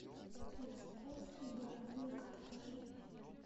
кус кус и барабулька покажи